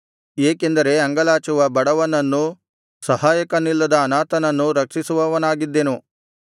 ಏಕೆಂದರೆ ಅಂಗಲಾಚುವ ಬಡವನನ್ನೂ ಸಹಾಯಕನಿಲ್ಲದ ಅನಾಥನನ್ನೂ ರಕ್ಷಿಸುವವನಾಗಿದ್ದೆನು